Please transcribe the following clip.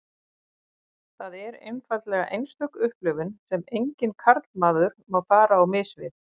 Það er einfaldlega einstök upplifun sem enginn karlmaður má fara á mis við.